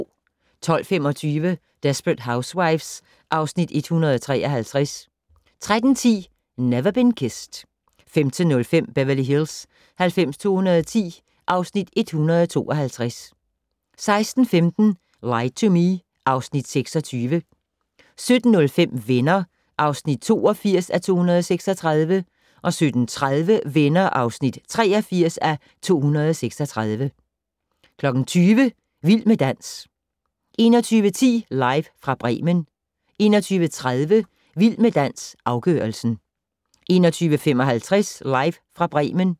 12:25: Desperate Housewives (Afs. 153) 13:10: Never Been Kissed 15:05: Beverly Hills 90210 (Afs. 152) 16:15: Lie to Me (Afs. 26) 17:05: Venner (82:236) 17:30: Venner (83:236) 20:00: Vild med dans 21:10: Live fra Bremen 21:30: Vild med dans - afgørelsen 21:55: Live fra Bremen